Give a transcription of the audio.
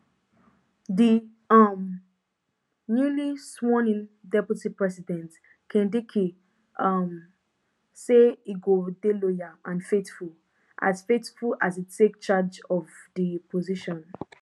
di um newly swornin deputy president kindiki um say e go dey loyal and faithful as faithful as e take charge of di position